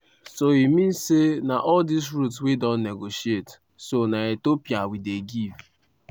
so e mean say all dis routes wey don negotiate so na ethiopia we dey give.